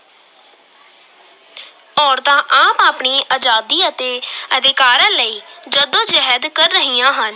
ਔਰਤਾਂ ਆਪ ਆਪਣੀ ਆਜ਼ਾਦੀ ਅਤੇ ਅਧਿਕਾਰਾਂ ਲਈ ਜੱਦੋ-ਜਹਿਦ ਕਰ ਰਹੀਆਂ ਹਨ।